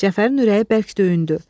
Cəfərin ürəyi bərk döyündü.